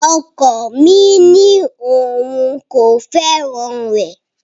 Ọkọ mi ní òun kò fẹ́ràn rẹ